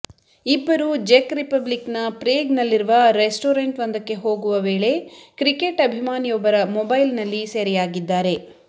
ಇಬ್ಬರೂ ಜೆಕ್ ರಿಪಬ್ಲಿಕ್ ನ ಪ್ರೇಗ್ ನಲ್ಲಿರುವ ರೆಸ್ಟೋರೆಂಟ್ ಒಂದಕ್ಕೆ ಹೋಗುವ ವೇಳೆ ಕ್ರಿಕೆಟ್ ಅಭಿಮಾನಿಯೊಬ್ಬರ ಮೊಬೈಲ್ ನಲ್ಲಿ ಸೆರೆಯಾಗಿದ್ದಾರೆ